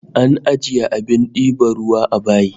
An ajiye abin diban ruwa a bayi